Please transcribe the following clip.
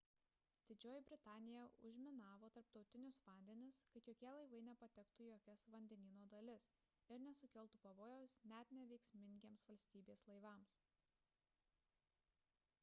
didžioji britanija užminavo tarptautinius vandenis kad jokie laivai nepatektų į jokias vandenyno dalis ir nesukeltų pavojaus net neveiksmingiems valstybės laivams